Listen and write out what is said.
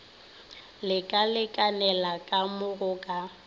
lekalekanela ka mo go ka